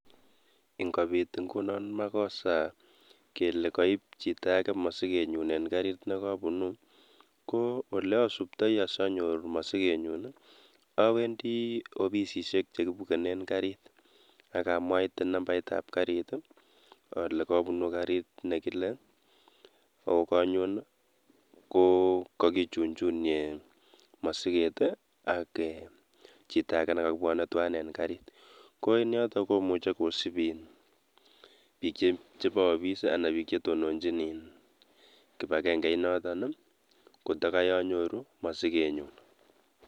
Ingopiit ingunoo makoseet koo olasuptei ngunoo aleeen awendii opisisheeek kwak akalenjii oyeeee kopeet masigeet eng yuuu nenyuunet